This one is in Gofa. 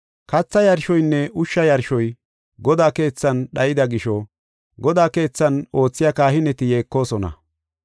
Katha yarshoynne ushsha yarshoy Godaa keethan dhayida gisho, Godaa keethan oothiya kahineti yeekosona.